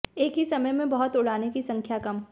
एक ही समय में बहुत उड़ाने की संख्या कम